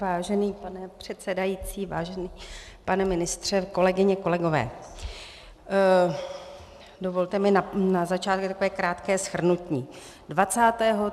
Vážený pane předsedající, vážený pane ministře, kolegyně, kolegové, dovolte mi na začátek takové krátké shrnutí.